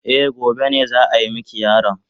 Eh, gobe ne za a mika yaron.